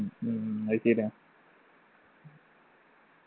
ഉം ഉം അത് ശരിയാന്ന്